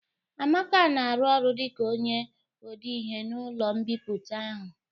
Amaka na-arụ ọrụ dịka onye odeihe n'ụlọ mbipụta ahu